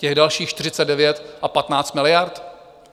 Těch dalších 49 a 15 miliard?